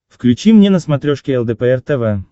включи мне на смотрешке лдпр тв